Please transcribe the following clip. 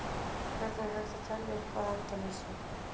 Hvernig er hægt að telja upp að endalausu?